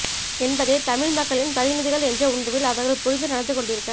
என்பதை தமிழ் மக்களின் பிரதிநிதிகள என்ற உணர்வில் அவர்கள் புரிந்து நடந்து கொண்டிருக்க